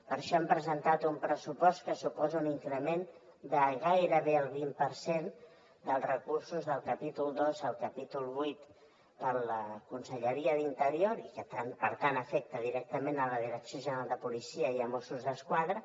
per això hem presentat un pressupost que suposa un increment de gairebé el vint per cent dels recursos del capítol dos al capítol vuit per a la conselleria d’interior i que per tant afecta directament la direcció general de la policia i mossos d’esquadra